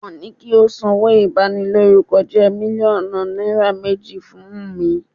Wọ́n ni kí ó sanwó ìbanilórúkọjẹ́ mílíọ̀nù náírà méjì fún Wùmí.